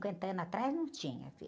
cinquenta anos atrás não tinha.